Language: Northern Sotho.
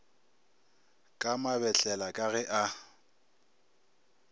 ka mabetlela ka ge a